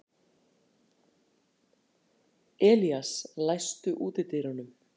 Elías, læstu útidyrunum.